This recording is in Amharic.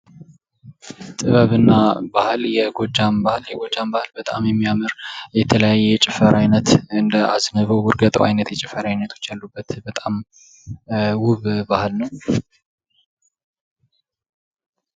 ጥበብና ባህል የጎጃም ባህል የጎጃም ባህል በጣም የሚያምር የተለያየ የጭፈራ አይነት እንደ አዝንበው እርግጠው አይነት የጭፈራ አይነቶች ያሉትን በጣም ውብ ባህል ነው።